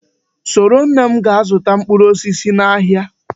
Soro nne m gaa zụta mkpụrụ osisi n'ahịa!